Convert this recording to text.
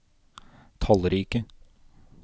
tallrike